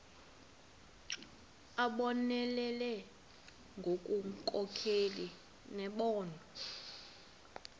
abonelele ngobunkokheli nembono